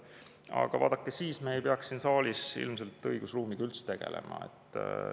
Aga vaadake, siis me ei peaks siin saalis ilmselt õigusruumiga üldse tegelema.